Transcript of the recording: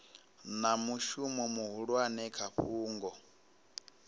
na mushumo muhulwane kha fhungo